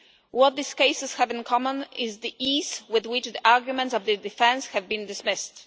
What these cases have in common is the ease with which the arguments of the defence have been dismissed.